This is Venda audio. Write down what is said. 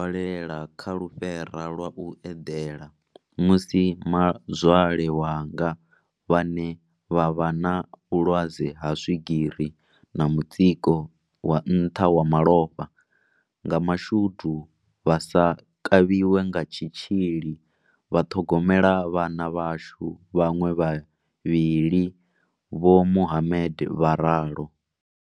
Lela kha lufhera lwa u eḓela, musi mazwale wanga vhane vha vha na vhulwadze ha swigiri na mutsiko wa nṱha wa malofha, nga mashudu vha sa kavhiwe nga tshitzhili vha ṱhogomela vhana vhashu vhaṅwe vhavhili, vho Mohammed vha ralo.